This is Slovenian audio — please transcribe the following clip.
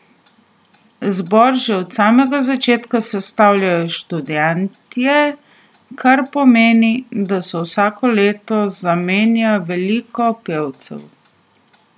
Zbor že od samega začetka sestavljajo študentje, kar pomeni, da se vsako leto zamenja veliko pevcev.